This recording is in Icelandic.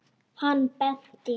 Hann benti.